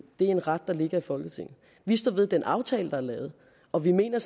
er en ret der ligger i folketinget vi står ved den aftale der er lavet og vi mener